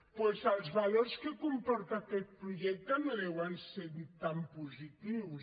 doncs els valors que comporta aquest projecte no deuen ser tan positius